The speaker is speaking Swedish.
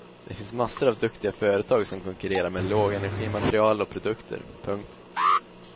Det finns massor av duktiga företag som konkurrerar med lågenergimaterial och produkter. punkt